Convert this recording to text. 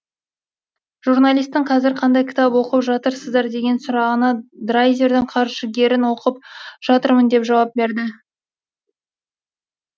журналистің қазір қандай кітап оқып жатырсыздар деген сұрағына драйзердің қаржыгерін оқып жатырмын деп жауап берді